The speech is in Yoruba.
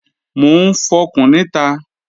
Mò ń fọkùn níta